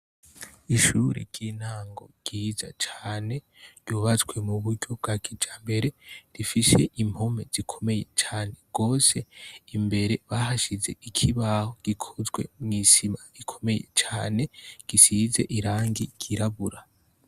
Ishure ry' intango ryiza cane ryubatswe muburyo bwa kijambere rifise impome zikomeye cane gose imbere bahashize ikibaho gikozwe mw' isima ikomeye cane gisize irangi ryirabura.